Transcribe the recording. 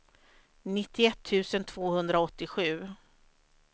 nittioett tusen tvåhundraåttiosju